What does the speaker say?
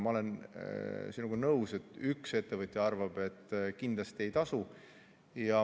Ma olen sinuga nõus, et üks ettevõtja arvab, et kindlasti ei tasu.